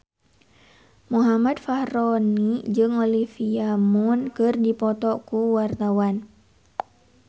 Muhammad Fachroni jeung Olivia Munn keur dipoto ku wartawan